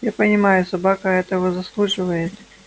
я понимаю собака этого заслуживает